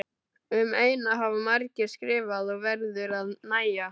Um eyna hafa margir skrifað og verður að nægja.